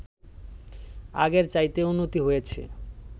আগের চাইতে উন্নতি হয়েছে